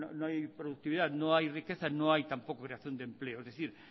no hay productividad no hay riqueza no hay tampoco creación de empleo es decir